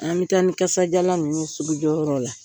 An bɛ taa ni kasajalan ninnu ye sugujɔ yɔrɔ la.